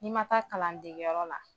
I ma taa kalan dege yɔrɔ la.